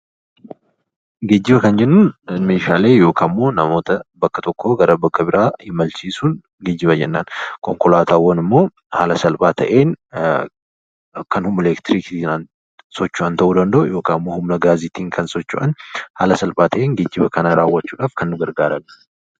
Geejjiba kan jennuun meeshaalee yookiin namoota bakka tokkoo gara bakka biraa imalchiisuu yoo ta'u, konkolaataawwan immoo haala salphaa ta'een kan humna elektiriikiidhaan socho'an ta'uu danda'u yookaan humna gaasiitiin kan socho'an ta'uu danda'u haala salphaa ta'een geejjiba raawwachuuf kan nu gargaaranidha.